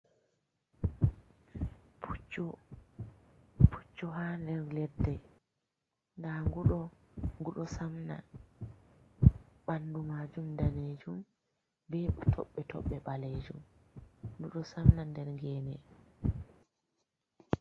Puccu ha nder ladde nda gu ɗo gu ɗo samna, ɓandu majum danejum, be toɓɓe toɓɓe ɓalejum, gu ɗo samna nder gene.